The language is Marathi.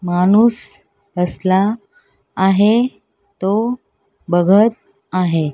माणूस कसला आहे तो बघत आहे.